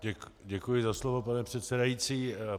Děkuji za slovo, pane předsedající.